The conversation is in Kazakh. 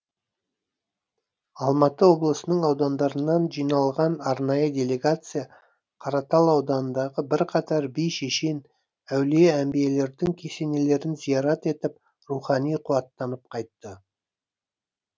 алматы облысының аудандарынан жиналған арнайы делегация қаратал ауданындағы бірқатар би шешен әулие әмбиелердің кесенелеріне зиярат етіп рухани қуаттанып қайтты